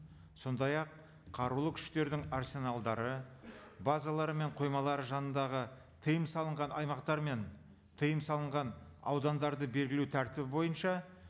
сондай ақ қарулы күштердің арсеналдары базалары мен қоймалары жанындағы тыйым салынған аймақтар мен тыйым салынған аудандарды белгілеу тәртібі бойынша